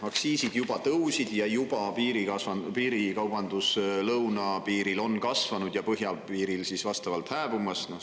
Aktsiisid juba tõusid ning juba on ka piirikaubandus lõunapiiril kasvanud ja põhjapiiril on see vastavalt hääbumas.